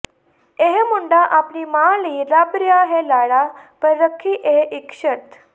ਇਹ ਮੁੰਡਾ ਆਪਣੀ ਮਾਂ ਲਈ ਲੱਭ ਰਿਹਾ ਹੈ ਲਾੜਾ ਪਰ ਰਖੀ ਇਹ ਇਕ ਸ਼ਰਤ